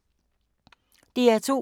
DR2